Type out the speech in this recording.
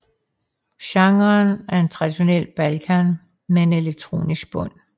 Genren er traditionel balkan med en elektronisk bund